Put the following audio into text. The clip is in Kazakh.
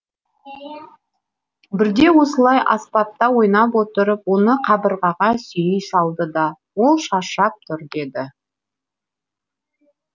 бірде осылай аспапта ойнап отырып оны қабырғаға сүйей салды да ол шаршап тұр деді